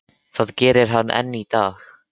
Það gerir hann enn í dag.